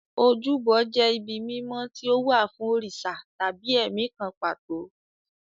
Ojúbọ jẹ́ ibi mímọ́ tí ó wà fún òrìṣà tàbí ẹ̀mí kan pàtó.